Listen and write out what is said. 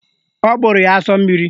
Ọ gbụrụ ya asọ mmiri